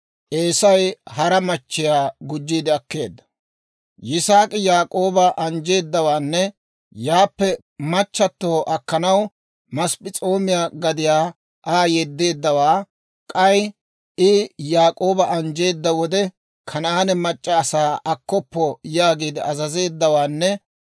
Yisaak'i Yaak'ooba anjjeedawaanne, yaappe machchatto akkanaw Masp'p'es'oomiyaa gadiyaa Aa yedeeddawaa, k'ay I Yaak'ooba anjjeedda wode, «Kanaane mac'c'a asaa akkoppa» yaagiide azazeeddawaanne,